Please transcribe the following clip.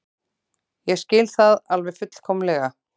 Ég skil það alveg fullkomlega.